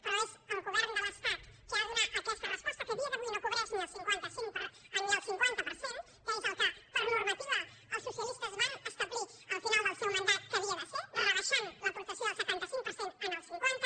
però és el govern de l’estat qui ha de donar aquesta resposta que a dia d’avui no cobreix ni el cinquanta per cent que és el que per normativa els socialistes van establir al final del seu mandat que havia de ser rebaixant l’aportació del setanta cinc per cent al cinquanta